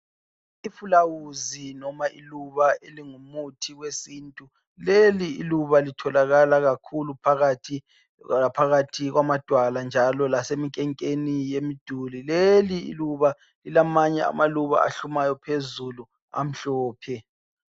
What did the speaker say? Ifulawuzi noma iluba elingumuthi wesintu, leli iluba litholakala kakhulu phakathi laphakathi kwamadwala njalo laseminkenkeni yemiduli. Leliluba lilamanye amaluba ahlumayo phezulu amhlophe